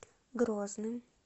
грозным